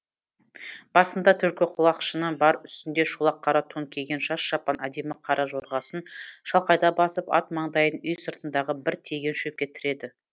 басында түлкі құлақшыны бар үстінде шолақ қара тон киген жас шапан әдемі қара жорғасын шалқайта басып ат маңдайын үй сыртындағы бір теген шөпке тіреді